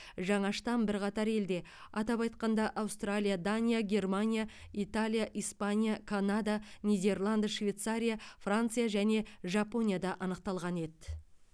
жаңа штамм бірқатар елде атап айтқанда аустралия дания германия италия испания канада нидерланд швейцария франция және жапонияда анықталған еді